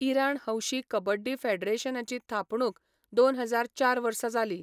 इराण हौशी कबड्डी फेडरेशनाची थापणूक दोन हजार चार वर्सा जाली.